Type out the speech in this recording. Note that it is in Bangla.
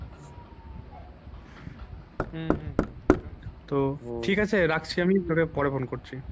উম হম হম তো ঠিক আছে রাখছি আমি পরে পরে phone করছি।